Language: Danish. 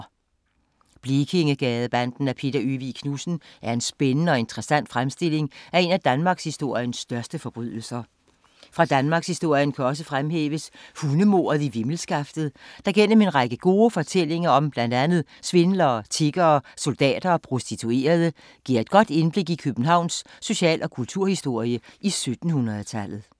Blekingegadebanden af Peter Øvig Knudsen er en spændende og interessant fremstilling af en af danmarkshistoriens største forbrydelser. Fra danmarkshistorien kan også fremhæves Hundemordet i Vimmelskaftet, der gennem en række gode fortællinger om blandt andet svindlere, tiggere, soldater og prostituerede, giver et godt indblik i Københavns social- og kulturhistorie i 1700-tallet.